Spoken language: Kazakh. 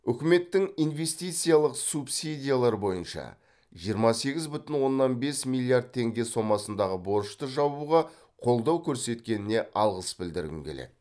үкіметтің инвестициялық субсидиялар бойынша жиырма сегіз бүтін оннан бес миллиард теңге сомасындағы борышты жабуға қолдау көрсеткеніне алғыс білдіргім келеді